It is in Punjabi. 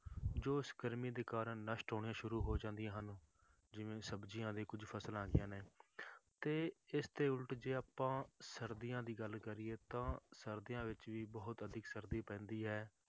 ਜੋ ਉਸ ਗਰਮੀ ਦੇ ਕਾਰਨ ਨਸ਼ਟ ਹੋਣੀਆਂ ਸ਼ੁਰੂ ਹੋ ਜਾਂਦੀਆਂ ਹਨ, ਜਿਵੇਂ ਸਬਜ਼ੀਆਂ ਦੀਆਂ ਕੁਛ ਫਸਲਾਂ ਹੈਗੀਆਂ ਨੇ ਤੇ ਇਸ ਦੇ ਉੱਲਟ ਜੇ ਆਪਾਂ ਸਰਦੀਆਂ ਦੀ ਗੱਲ ਕਰੀਏ ਤਾਂ ਸਰਦੀਆਂ ਵਿੱਚ ਵੀ ਬਹੁਤ ਅਧਿਕ ਸਰਦੀ ਪੈਂਦੀ ਹੈ